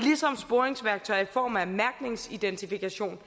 form af mærkningsidentifikation